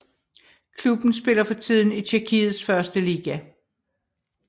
Klubben spiller for tiden i Tjekkiets første liga